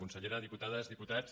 consellera diputades diputats